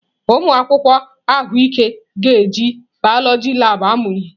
Ụmụ akwụkwọ ahụike ga-eji biọloji labụ amụ ihe.